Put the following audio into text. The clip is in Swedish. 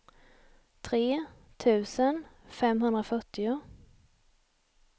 tre tusen femhundrafyrtio